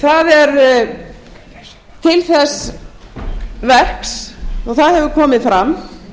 það er til þess verks og það hefur komið fram